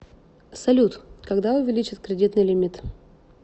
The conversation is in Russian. салют когда увеличат кредитный лимит